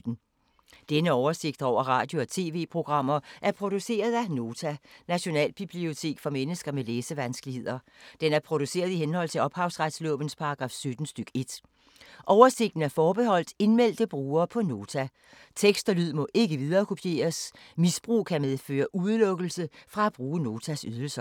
Denne oversigt over radio og TV-programmer er produceret af Nota, Nationalbibliotek for mennesker med læsevanskeligheder. Den er produceret i henhold til ophavsretslovens paragraf 17 stk. 1. Oversigten er forbeholdt indmeldte brugere på Nota. Tekst og lyd må ikke viderekopieres. Misbrug kan medføre udelukkelse fra at bruge Notas ydelser.